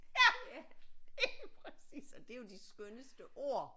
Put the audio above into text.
Ja lige præcis og det er jo de skønneste ord